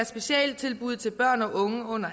specialtilbud til børn og unge under